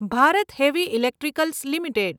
Bharat heavy electricals limited